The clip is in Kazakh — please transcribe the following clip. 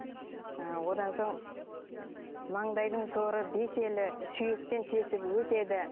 ы одан соң маңдайдың соры бес елі сүйектен тесіп өтеді